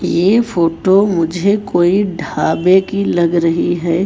ये फोटो मुझे कोई ढाबे की लग रही है।